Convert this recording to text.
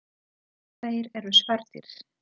Þeir eru svartir.